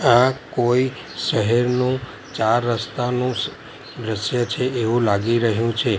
આ કોઈ શહેરનું ચાર રસ્તા નું સ દ્રશ્ય છે એવું લાગી રહ્યું છે.